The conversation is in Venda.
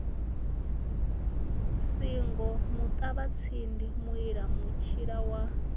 singo muṱavhatsindi muila mutshila wa